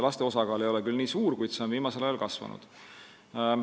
Laste osakaal ei ole küll nii suur, kuid see on viimasel ajal kasvanud.